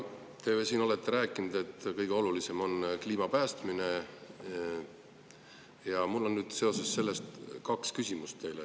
Te olete ju siin rääkinud, et kõige olulisem on kliima päästmine, ja mul on sellega seoses teile kaks küsimust.